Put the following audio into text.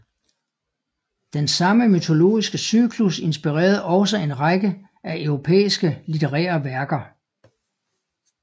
Den samme mytologiske cyklus inspirerede også en række af europæiske litterære værker